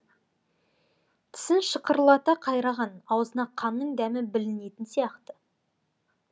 тісін шықырлата қайраған аузына қанның дәмі білінетін сияқты